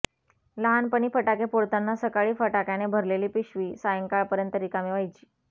लहानपणी फटाके फोडताना सकाळी फटाक्याने भरलेली पिशवी सायंकाळपर्यंत रिकामी व्हायची